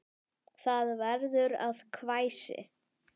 Það verður að hvæsi.